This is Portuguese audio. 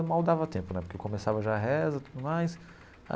Mal dava tempo né, porque começava já a reza e tudo mais.